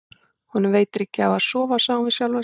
Honum veitir ekki af að sofa, sagði hún við sjálfa sig.